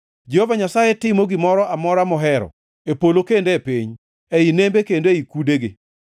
Jehova Nyasaye timo gimoro amora mohero, e polo kendo e piny, ei nembe kendo e kudegi.